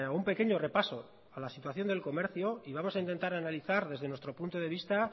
un pequeño repaso a la situación del comercio y vamos a intentar analizar desde nuestro punto de vista